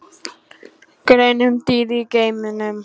Grein um dýr í geimnum